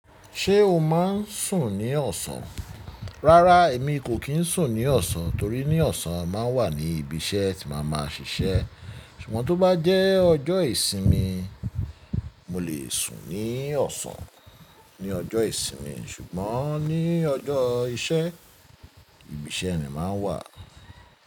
Ṣé o máa ń sùn ní ọ̀sán? Rárá, èmi kò kín sùn ní ọ̀sán torí ní ọ̀sán máa ń wà ní ibi iṣẹ́ tí màá máa ṣiṣẹ́. Ṣùgbọ́n tó bá jẹ́ ọjọ́ ìsinmi, mo lè sùn ní ọ̀sán ní ọjọ́ ìsinmi ṣùgbọ́n ní ọjọ́ iṣẹ́, ibi iṣẹ́ ni màá wà.